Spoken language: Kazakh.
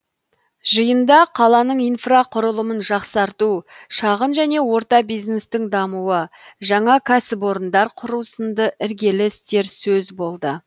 жиында қаланың инфрақұрылымын жақсарту шағын және орта бизнестің дамуы жаңа кәсіпорындар құру сынды іргелі істер сөз болды